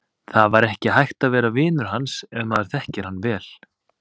Það var ekki hægt að vera vinur hans ef maður þekkir hann vel.